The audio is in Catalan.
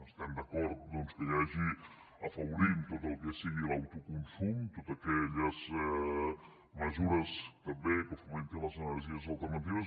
estem d’acord doncs que hi hagi afavorint tot el que sigui l’autoconsum totes aquelles mesures també que fomentin les energies alternatives